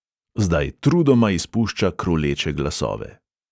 Zdaj trudoma izpušča kruleče glasove.